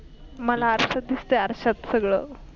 मला आता दिसते आरशात सगळ.